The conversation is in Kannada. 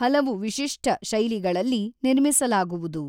ಹಲವು ವಿಶಿಷ್ಟ ಶೈಲಿಗಳಲ್ಲಿ ನಿರ್ಮಿಸಲಾಗುವುದು.